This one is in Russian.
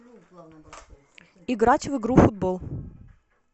играть в игру футбол